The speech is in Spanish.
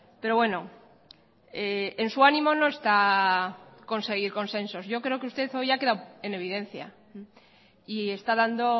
pero bueno en su ánimo no está conseguir consensos yo creo que usted hoy ha quedado en evidencia y está dando